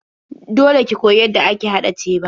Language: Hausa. Dole ki koyi yadda ake haɗa teba.